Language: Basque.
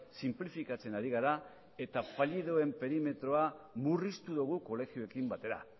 sinplifikatzen ari gara eta fallidoen perimetroa murriztu dugu kolegioekin batera